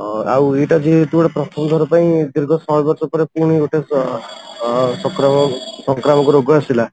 ଅ ଆଉ ଏଇଟା ଯେହେତୁ ପ୍ରଥମ ଥର ପାଇଁ ଦୀର୍ଘ ଶହେ ବର୍ଷ ପରେ ପୁଣି ଗୋଟେ ଅଂ ସଂକ୍ରମଣ ସଂକ୍ରାମକ ରୋଗ ଆସିଲା